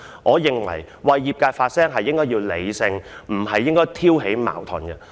我認為議員為業界發聲應該要理性而不是挑起矛盾。